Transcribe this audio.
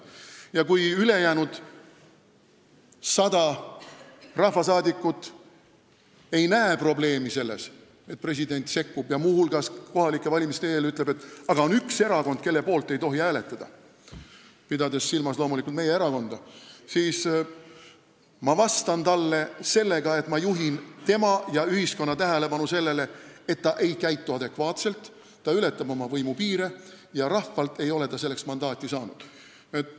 Kui ülejäänud 100 rahvasaadikut ei näe probleemi selles, et president sekkub ja ütleb muu hulgas kohalike valimiste eel, et on üks erakond, mille poolt ei tohi hääletada, pidades silmas loomulikult meie erakonda, siis ma vastan talle sellega, et ma juhin tema ja ühiskonna tähelepanu sellele, et ta ei käitu adekvaatselt, ta ületab oma võimupiire ja rahvalt ei ole ta selleks mandaati saanud.